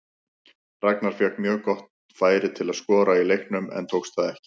Ragnar fékk mjög gott færi til að skora í leiknum en tókst það ekki.